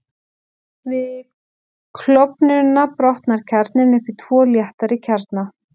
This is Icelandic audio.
Við klofnunina brotnar kjarninn upp í tvo léttari kjarna.